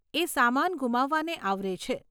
એ સામાન ગુમાવવાને આવરે છે.